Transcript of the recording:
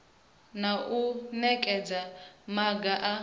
na u nekedza maga a